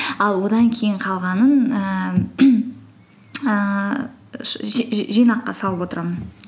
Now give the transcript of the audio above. ал одан кейін қалғанын ііі ііі жинаққа салып отырамын